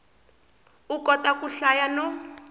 u kota ku hlaya no